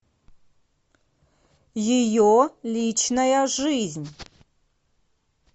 ее личная жизнь